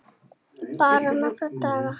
Bara nokkra daga.